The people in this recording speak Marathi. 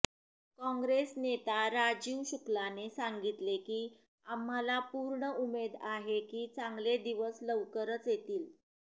काँग्रेस नेता राजीव शुक्लाने सांगितले की आम्हाला पूर्ण उमेद आहे की चांगले दिवस लवकरच येतील